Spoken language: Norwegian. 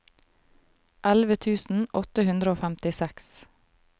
elleve tusen åtte hundre og femtiseks